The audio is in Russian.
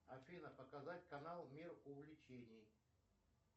афина показать канал мир увлечений